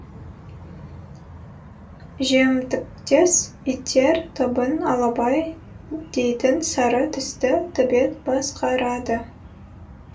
жемтіктес иттер тобын алабай дейтін сары түсті төбет басқарады